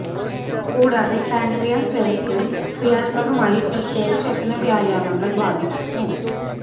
കൂടാതെ പാൻക്രിയാസ് വ്യവസ്ഥയിൽ ക്രിയാത്മകമായി പ്രത്യേക ശ്വസന വ്യായാമങ്ങൾ ബാധിക്കുന്നു